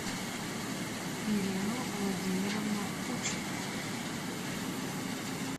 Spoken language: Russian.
ирину владимировну кучину